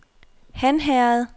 Hanherred